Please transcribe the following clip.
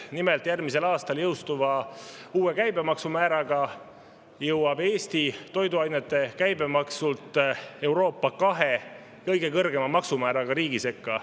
Nimelt, järgmisel aastal jõustuva uue käibemaksumääraga jõuab Eesti toiduainete käibemaksult Euroopa kahe kõige kõrgema maksumääraga riigi sekka.